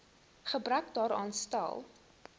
gebrek daaraan stel